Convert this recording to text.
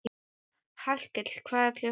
Hallkell, hvað er klukkan?